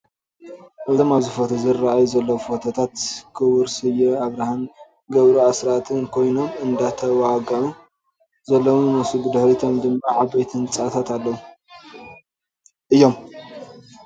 እዞም አብዚ ፎቶ ዝረአዩ ዘለዉ ፎቶታት ኩቡር ስየ አብርሃን ገብሩ አስራትን ኮይኖም እንዳዋግዑ ዘለዉ ይመስሉ፡፡ ብድሕሪቶም ድማ ዓበይቲ ህንፃታት አለዉ እዮም፡፡